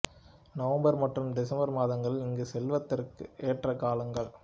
November மற்றும் December மாதங்கள் இங்கு செல்வதற்கு ஏற்ற காலங்கள்